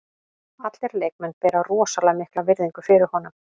Allir leikmenn bera rosalega mikla virðingu fyrir honum.